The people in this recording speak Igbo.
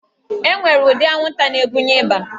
E nwere ụdị anwụnta na-ebunye ịba